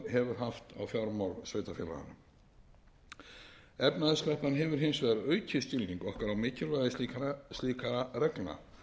haft á fjármál sveitarfélaganna efnahagskreppan hefur hins vegar aukið skilning okkar á mikilvægi slíkra reglna